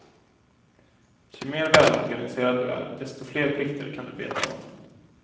Ju mer välorganiserad du är, desto fler plikter kan du beta av.